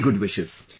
Many good wishes